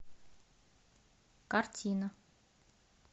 картина